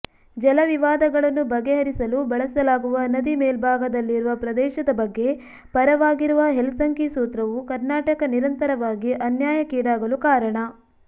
ಜಲವಿವಾದಗಳನ್ನು ಬಗೆಹರಿಸಲು ಬಳಸಲಾಗುವ ನದಿ ಮೇಲ್ಭಾಗದಲ್ಲಿರುವ ಪ್ರದೇಶದ ಬಗ್ಗೆ ಪರವಾಗಿರುವ ಹೆಲ್ಸಂಕಿ ಸೂತ್ರವೂ ಕರ್ನಾಟಕ ನಿರಂತರವಾಗಿ ಅನ್ಯಾಯಕ್ಕೀಡಾಗಲು ಕಾರಣ